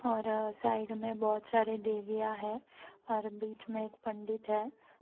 और साइड में बहोत सारे देवियाँ है और बीच में एक पंडित है।